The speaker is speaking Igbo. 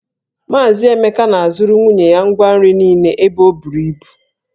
Mazị Emeka na-azụrụ nwunye ya ngwa nri niile ebe o buru ibu.